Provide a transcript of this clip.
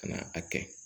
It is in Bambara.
Ka na a kɛ